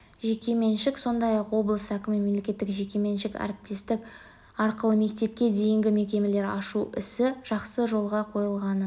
жекеменшік сондай-ақ облыс әкімі мемлекеттік-жекеменшік әріптестік арқылы мектепке дейінгі мекемелер ашу ісі жақсы жолға қойылғанын